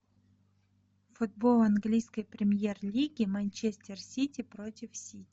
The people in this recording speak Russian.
футбол английской премьер лиги манчестер сити против сити